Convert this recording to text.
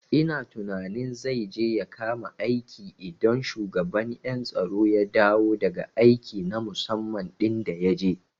Ina tunanin zai je ya kama aiki idan shugaban ƴan tsaro ya dawo daga aiki na musamman ɗin da yaje